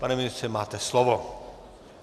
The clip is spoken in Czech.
Pane ministře, máte slovo.